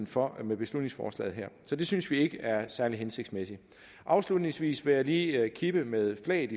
fra med beslutningsforslaget her så det synes vi ikke er særlig hensigtsmæssigt afslutningsvis vil jeg lige kippe med flaget